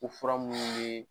O fura munnu bɛ